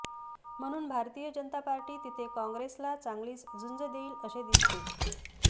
म्हणून भारतीय जनता पार्टी तिथे कॉंग्रेसला चांगलीच झुंज देईल असे दिसते